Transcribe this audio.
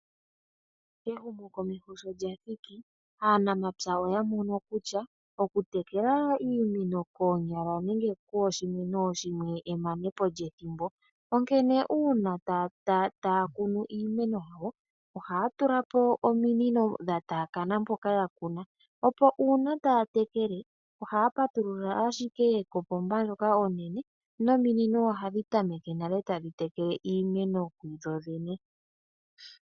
Ehumokomeho sho lya thiki aanamapya oya mono kutya okutekela iimeno koonyala nenge kooshimwe nooshimwe emane po lyethimbo, onkene uuna taya kunu iimeno yawo ohaya tula po ominino dha taakaana mpoka ya kuna, opo uuna taya tekele ohaya patulula ashike kopomba ndjoka onene nominino ohadhi tameke tadhi tekele iimeno kudho dhene.